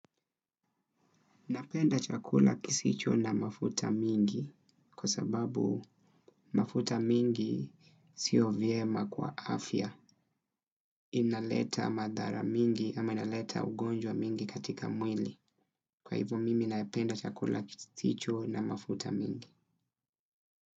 Napenda chakula kisicho na mafuta mingi, kwa sababu, mafuta mingi, siyo vyema kwa afya. Inaleta madhara mingi ama inaleta ugonjwa mingi katika mwili. Kwa hivyo mimi napenda chakula kisicho na mafuta mingi.